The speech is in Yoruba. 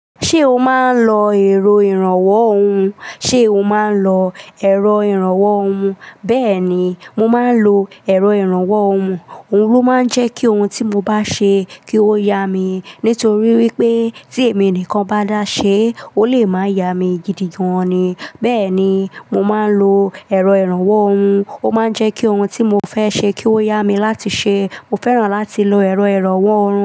Ṣé o máa ń lo èrọ ìrànwọ́ ohun? Ṣé o máa ń lo èrọ ìrànwọ́ ohun? Bẹ́ẹ̀ ni, mo máa ń lo èrọ ìrànwọ́ ohun, òun ló máa ń jẹ́ kí ohun tí mo bá ṣe kí ó ya mi. Nítorí wípé tí èmi nìkan bá dáa ṣe, ó lè máa ya mi gidi gan ni. Bẹ́ẹ̀ ni, mo máa ń lo èrọ ìrànwọ́ ohun, ó máa ń jẹ́ kí ohun tí mo fẹ́ ṣe kí ó yá mi láti ṣe. Mo fẹ́ràn láti lo èrọ ìrànwọ́ ohun.